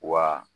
Wa